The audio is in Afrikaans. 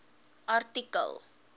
artikel